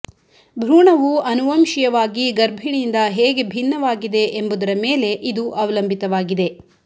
ಭ್ರೂಣವು ಅನುವಂಶೀಯವಾಗಿ ಗರ್ಭಿಣಿಯಿಂದ ಹೇಗೆ ಭಿನ್ನವಾಗಿದೆ ಎಂಬುದರ ಮೇಲೆ ಇದು ಅವಲಂಬಿತವಾಗಿದೆ